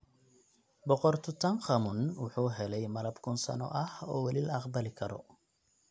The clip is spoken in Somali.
Boqor Tutankhamun wuxuu helay malab kun sano ah oo weli la aqbali karo.